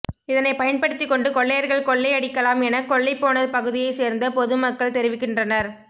இதனை பயன்படுத்திக் கொண்டு கொள்ளையர்கள் கொள்ளை அடிக்கலாம் என கொள்ளை போன பகுதியை சேர்ந்த பொதுமக்கள் தெரிவிக்கின்றனர்